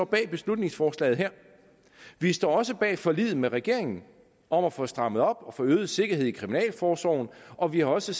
bag beslutningsforslaget her vi står også bag forliget med regeringen om at få strammet op og få øget sikkerhed i kriminalforsorgen og vi har også